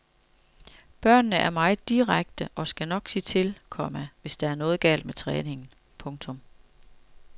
Børnene er meget direkte og skal nok sige til, komma hvis der er noget galt med træningen. punktum